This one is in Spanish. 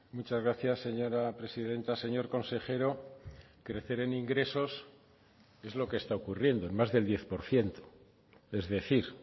muchas gracias señora presidenta señor consejero crecer en ingresos es lo que está ocurriendo en más del diez por ciento es decir